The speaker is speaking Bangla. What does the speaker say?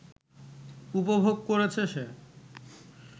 উপভোগ করেছে সে